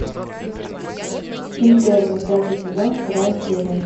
интерны пятый сезон вторая серия